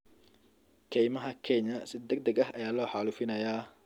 Kaymaha Kenya si degdeg ah ayaa loo xaalufinayaa.